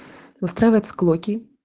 устраивать склоки